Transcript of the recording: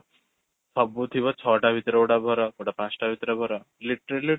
ସବୁ ଥିବ ଛଟା ଭିତରେ ଗୋଟେ ଭର, ଗୋଟେ ପାଞ୍ଚଟା ଭିତରେ ଭର literally